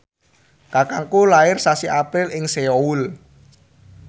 kakangku lair sasi April ing Seoul